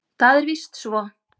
Það er víst svo.